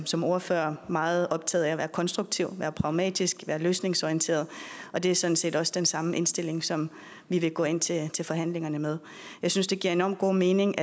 som ordfører meget optaget af at være konstruktiv være pragmatisk være løsningsorienteret og det er sådan set også den samme indstilling som vi vil gå ind til til forhandlingerne med jeg synes det giver enormt god mening